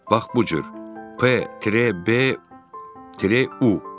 Bax bu cür: P, U.